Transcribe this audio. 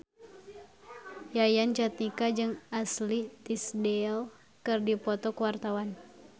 Yayan Jatnika jeung Ashley Tisdale keur dipoto ku wartawan